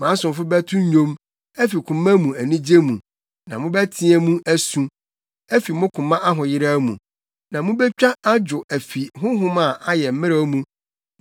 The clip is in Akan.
Mʼasomfo bɛto nnwom afi koma mu anigye mu na mobɛteɛ mu asu afi mo koma ahoyeraw mu, na mubetwa adwo afi honhom a ayɛ mmrɛw mu.